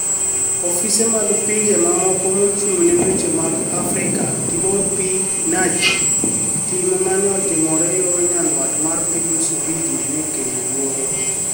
Ofise mag pinije mamoko mochunig ni e weche mag afrikaTibor P niagy, tim ma ni e otimore yo niyanidwat mar piniy Msumbiji ni e kelo luoro.